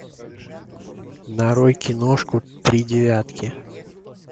нарой киношку три девятки